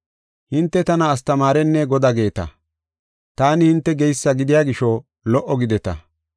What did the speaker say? Hinte tana astamaarenne Godaa geeta; taani hinte geysa gidiya gisho lo77o gideta.